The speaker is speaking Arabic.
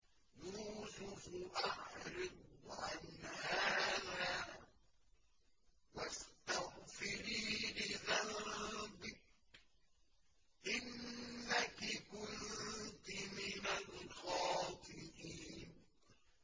يُوسُفُ أَعْرِضْ عَنْ هَٰذَا ۚ وَاسْتَغْفِرِي لِذَنبِكِ ۖ إِنَّكِ كُنتِ مِنَ الْخَاطِئِينَ